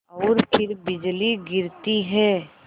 और फिर बिजली गिरती है